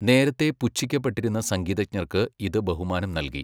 നേരത്തെ പുച്ഛിക്കപ്പെട്ടിരുന്ന സംഗീതജ്ഞർക്ക് ഇത് ബഹുമാനം നൽകി.